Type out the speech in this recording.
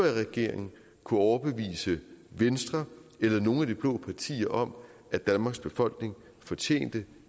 i regering kunne overbevise venstre eller nogle af de blå partier om at danmarks befolkning fortjente